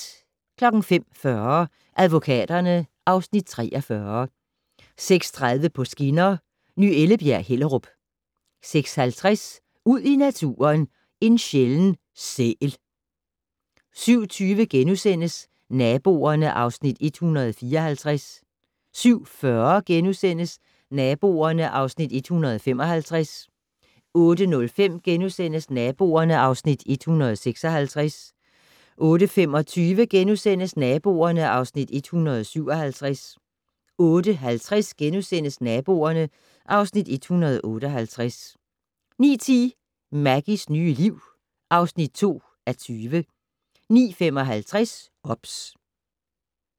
05:40: Advokaterne (Afs. 43) 06:30: På skinner: Ny Ellebjerg-Hellerup 06:50: Ud i naturen: En sjælden sæl 07:20: Naboerne (Afs. 154)* 07:40: Naboerne (Afs. 155)* 08:05: Naboerne (Afs. 156)* 08:25: Naboerne (Afs. 157)* 08:50: Naboerne (Afs. 158)* 09:10: Maggies nye liv (2:20) 09:55: OBS